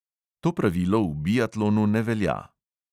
To pravilo v biatlonu ne velja.